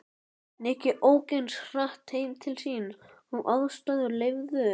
Nikki ók eins hratt heim til sín og aðstæður leyfðu.